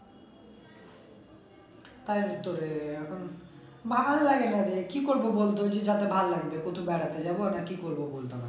তার উত্তরে এখন ভাল লাগে না রে কি করবো বলতো ভাল লাগে না, কোথাও বেড়াতে যাবো না কি করবো বলতো